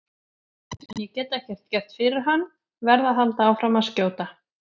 En ég get ekkert gert fyrir hann, verð að halda áfram að skjóta.